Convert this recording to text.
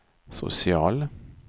social